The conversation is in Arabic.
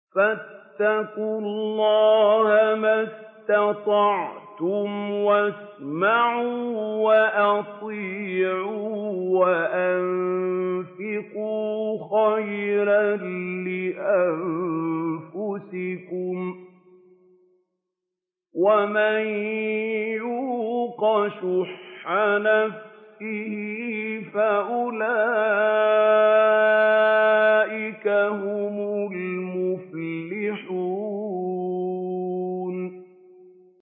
فَاتَّقُوا اللَّهَ مَا اسْتَطَعْتُمْ وَاسْمَعُوا وَأَطِيعُوا وَأَنفِقُوا خَيْرًا لِّأَنفُسِكُمْ ۗ وَمَن يُوقَ شُحَّ نَفْسِهِ فَأُولَٰئِكَ هُمُ الْمُفْلِحُونَ